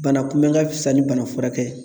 Bana kunbɛn ka fisa ni bana furakɛ ye